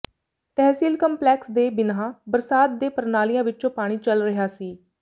ਤਹਿਸੀਲ complex ਦੇ ਬਿਨ੍ਹਾਂ ਬਰਸਾਤ ਦੇ ਪਰਨਾਲਿਆ ਵਿੱਚੋ ਪਾਣੀ ਚੱਲ ਰਿਹਾ ਸੀ